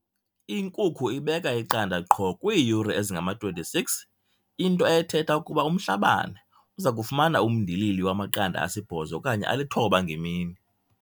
Inkukhu ibeka iqanda qho kwiiyure ezingama-26, into ethetha ukuba uMhlabane uza kufumana umndilili wamaqanda asibhozo okanye alithoba ngemini.